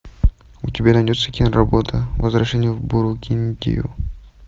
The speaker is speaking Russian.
у тебя найдется киноработа возвращение в бургундию